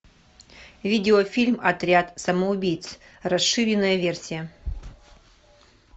видео фильм отряд самоубийц расширенная версия